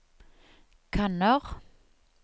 kanner